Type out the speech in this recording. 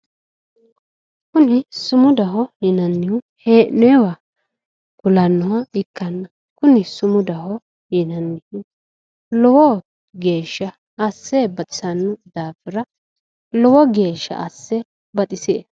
kuni sumudaho yinannihu hee'noyiiwa kulannoha ikkanna kuni sumudaho yinanni lowo geeshsha asse baxisanno daafira lowo geeshsha asse baxisie.